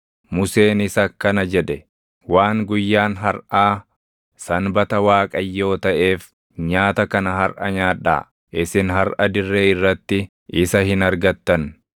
Museenis akkana jedhe; “Waan guyyaan harʼaa sanbata Waaqayyoo taʼeef nyaata kana harʼa nyaadhaa; isin harʼa dirree irratti isa hin argattan.